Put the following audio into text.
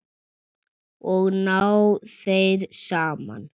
Og ná þeir saman?